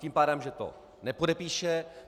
Tím pádem že to nepodepíše.